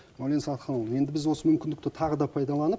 мәулен сағатханұлы енді біз осы мүмкіндікті тағы да пайдаланып